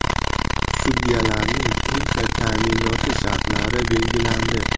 Sudyalarning pensiya ta’minoti shartlari belgilandi.